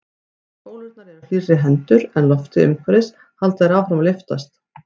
Meðan bólurnar eru hlýrri heldur en loftið umhverfis halda þær áfram að lyftast.